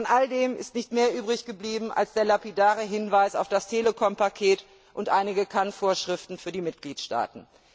Von all dem ist nicht mehr übrig geblieben als der lapidare Hinweis auf das Telekom Paket und einige Kann Vorschriften für die Mitgliedstaaten.